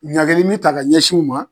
Ɲageli mi ta ka ɲɛsiw ma